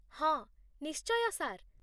ହଁ, ନିଶ୍ଚୟ, ସାର୍